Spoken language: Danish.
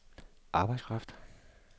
arbejdskraft